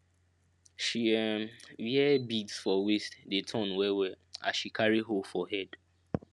she um wear beads for waist dey turn wellwell as she carry hoe for head